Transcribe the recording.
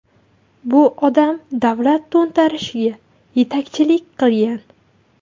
Bu odam davlat to‘ntarishiga yetakchilik qilgan.